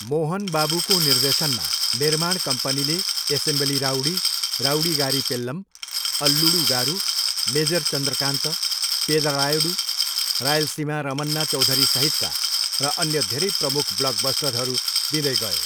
मोहन बाबुको निर्देशनमा, निर्माण कम्पनीले assembly rowdy, Rowdygari Pellam, Alludu Garu, major Chandrakanth, Pedarayudu, Rayalaseema Ramanna चौधरीसहितका र अन्य धेरै प्रमुख ब्लकबस्टरहरू दिँदै गयो।